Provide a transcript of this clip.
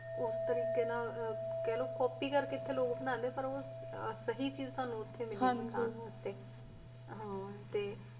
ਉਸ ਤਰੀਕ਼ੇ ਨਾਲ ਕੇ ਲ ਕਾੱਪੀ ਕਰਕੇ ਏਥੇ ਲਗ ਬ੍ਨਾਨ੍ਡੇ ਪਰ ਓ ਸਹੀ ਚੀਜ਼ ਤਨੁ ਓਥੇ ਮਿਲੇ ਗੀ ਖਾਨ ਵਾਸਤੇ